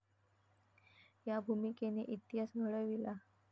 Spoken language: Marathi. या भूमिकेने इतिहास घडविला.